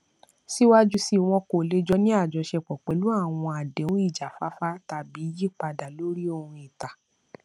síwájú síi wọn kò lè jọ ní àjọṣepọ pẹlú àwọn àdéhùn ìjáfáfá tàbí yípadà lórí ohun ìta